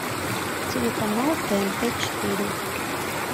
телеканал тнт четыре